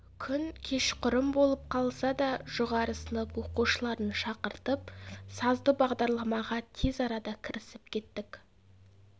күн кешқұрым болып қалса да жоғары сынып оқушыларын шақыртып сазды бағдарламаға тез арада кірісіп кеттік